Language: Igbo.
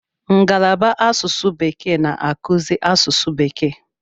Ngalaba asụsụ bekee na-akụzi asụsụ bekee.